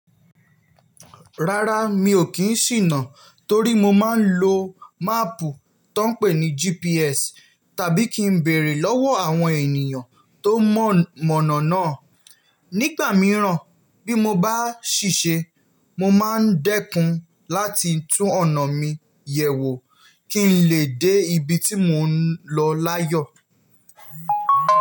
Rárá, mi ò kí ń ṣìná torí mo máa ń lo máàpù tó ń pé ní GPS tàbí kí ń bèrè lọ́wọ́ àwọn ènìyàn tó mọ̀ mọ̀nà náà. Nígbà mìíràn, bí mo bá ṣìṣe, mo máa ń dẹ́kun láti tún ọ̀nà mi yẹ̀ wò kí n lè dé ibi tí mò ń lọ láyọ̀.